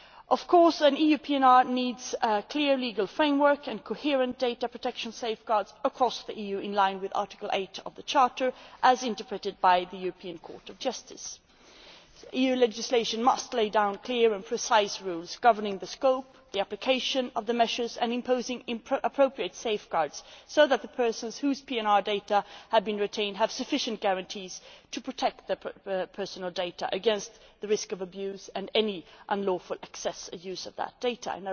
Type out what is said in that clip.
Of course, an EU PNR needs a clear legal framework and coherent data protection safeguards across the EU in line with Article 8 of the Charter, as interpreted by the European Court of Justice. EU legislation must lay down clear and precise rules governing the scope and the application of the measures, and imposing appropriate safeguards so that the persons whose PNR data has been retained have sufficient guarantees to protect their personal data against the risk of abuse and any unlawful access or use of that data.